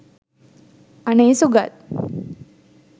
අනේ සුගත්